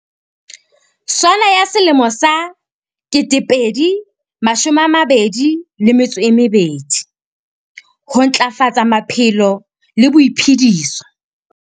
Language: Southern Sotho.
SONA ya selemo sa 2022. Ho Ntlafatsa maphelo le boiphediso.